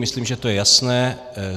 Myslím, že to je jasné.